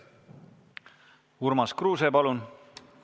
Urmas Kruuse, palun!